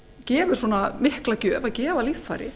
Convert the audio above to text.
gefur svona mikla gjöf að gefa líffæri